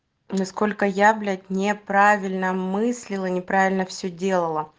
насколько я блять неправильно мыслила неправильно все делала